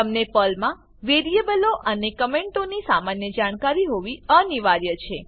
તમને પર્લમાં વેરીએબલો અને કમેંટોની સામાન્ય જાણકારી હોવી અનિવાર્ય છે